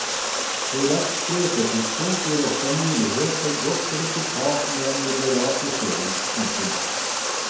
Korrekt sprøytetidspunkt gir også mulighet for godt resultat med en moderat dosering. punktum